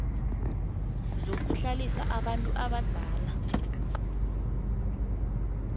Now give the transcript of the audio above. zokuhlalisa abantu abadala